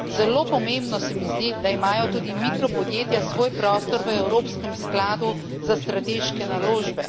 Zelo pomembno se mi zdi, da imajo tudi mikropodjetja svoj prostor v Evropskem skladu za strateške naložbe.